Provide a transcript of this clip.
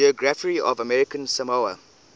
geography of american samoa